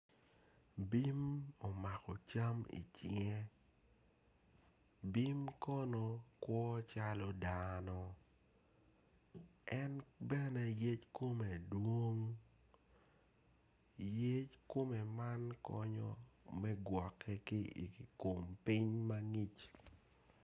Eni kono tye latin awobi, awobi eni kono tye ma oruko long ma bule en kono tye ma oruko gin blue i cinge en kono tye ka dongo taya. Taya eni kono tye ma kitweyo malo, awobi eni kono tye ka pwonye.